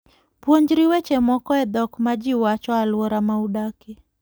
Puonjri weche moko e dhok ma ji wacho e alwora ma udakie.